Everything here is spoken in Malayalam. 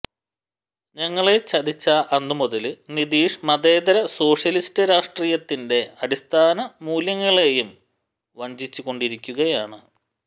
ഞങ്ങളെ ചതിച്ച അന്നുമുതല് നിതീഷ് മതേതര സോഷ്യലിസ്റ്റ് രാഷ്ട്രീയത്തിന്റെ അടിസ്ഥാന മൂല്യങ്ങളെയും വഞ്ചിച്ചു കൊണ്ടിരിക്കുകയാണ്